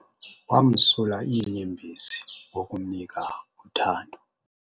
Wamsula iinyembezi ngokumnika uthando.